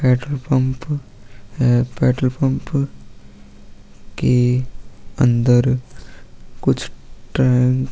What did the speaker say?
petrol pump है petrol pump के अंदर कुछ --